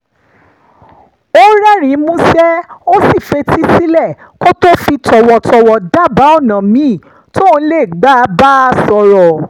ó rẹ́rìn-ín músẹ́ ó sì fetí sílẹ̀ kó tó fi tọ̀wọ̀tọ̀wọ̀ dábàá ọ̀nà míì tóun lè gbà bá a sọ̀rọ̀